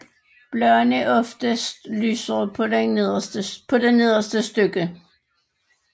Bladene er oftest lysere på det nederste stykke